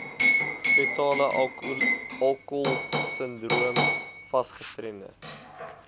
fetalealkoholsindroom fas gestremde